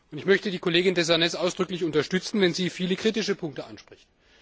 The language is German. Ich möchte die Kollegin de Sarnez ausdrücklich unterstützen, wenn sie viele kritische Punkte anspricht.